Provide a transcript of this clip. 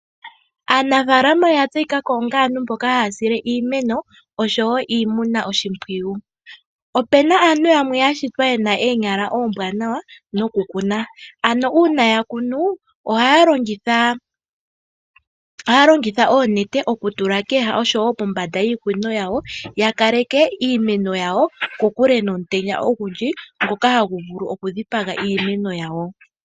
Aanafaalama oya tseyikako onga aantu mboka haya sile iimeno oshowo iinamwenyo oshimpwiyu. Opena aantu yamwe yashitwa yena oonyala oombwanawa noku kuna ano uuna ayakunu ohaya longitha oku tula kooha oshowo pombanda yiipundi yawo ya kaleke iimeno yawo kokule nomutenya ogundji ngoka hagu vulu oku dhipaga iimeno yawo.